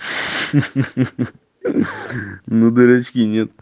хи-хи ну дырочки нет